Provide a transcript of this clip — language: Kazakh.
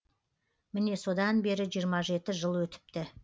міне содан бері жиырма жеті жыл өтіпті